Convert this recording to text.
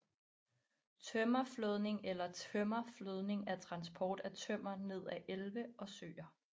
Tømmerflådning eller Tømmerflødning er transport af tømmer ned ad elve og søer